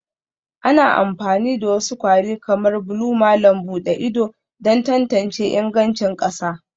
Ana amfani da wasu kwari kamar blue malam buɗe ido don tantance ingancin ƙasa